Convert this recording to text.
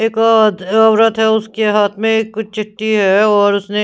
एक आ औरत है उसके हाथ में कुछ चिट्ठी है और उसने--